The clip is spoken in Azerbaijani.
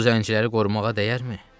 Bu zənciləri qorumağa dəyərmi?